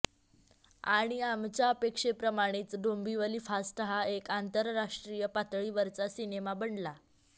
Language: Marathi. आणि आमच्या अपेक्षेप्रमाणेच डोंबिवली फास्ट हा एक आंतराष्र्टीय पातळीवरचा सिनेमा बनला